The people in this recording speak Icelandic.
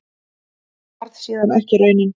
Það varð síðan ekki raunin.